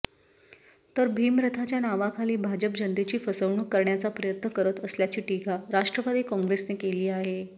तर भिमरथाच्या नावाखाली भाजप जनतेची फसवणूक करण्याचा प्रयत्न करत असल्याची टीका राष्ट्रवादी काँग्रेसने केली आहे